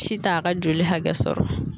Si t'a ka joli hakɛ sɔrɔ